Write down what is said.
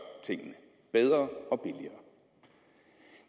tingene bedre og billigere